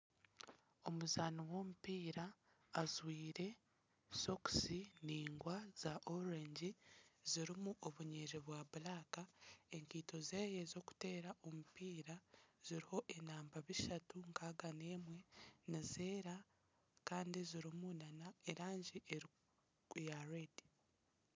Omuzaani w'omupiira ajwaire sokusi ndaingwa zakacungwa zirimu obunyiriri burikwiragura. Enkaito ze z'okuteera omupiira ziriho enamba bishatu nkaaga n'emwe nizeera kandi zirimu n'erangi erikwera.